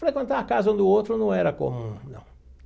Frequentar a casa um do outro não era comum, não.